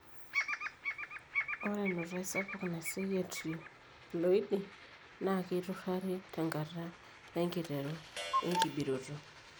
Ore enutai sapuk naiseyie etriploidy naa keiturari tenkata enkiteru enkibiroto.